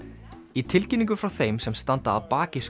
í tilkynningu frá þeim sem standa að baki